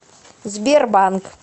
сбербанк